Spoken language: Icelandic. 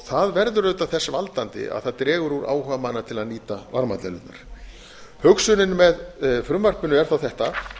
það verður auðvitað þess valdandi að það dregur úr áhuga manna til að nýta varmadælurnar hugsunin með frumvarpinu er þá þetta